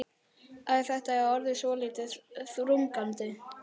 Æ, þetta er orðið svolítið þrúgandi.